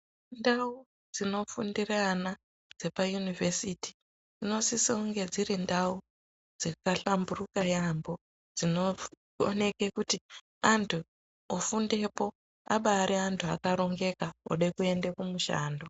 Ndau dzinofundire ana dzepayunivhesiti dzinosise kunge dziri ndau dzakahlamburika yaambo dzinooneke kuti anthu ofundepo abaari anthu akarongeka ode kuenda kumushando.